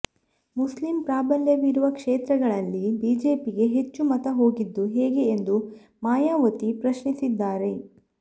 Muslim ಪ್ರಾಬಲ್ಯವಿರುವ ಕ್ಷೇತ್ರಗಳಲ್ಲಿ ಬಿಜೆಪಿಗೆ ಹೆಚ್ಚು ಮತ ಹೋಗಿದ್ದು ಹೇಗೆ ಎಂದು ಮಾಯಾವತಿ ಪ್ರಶ್ನಿಸಿದ್ದಾರೆ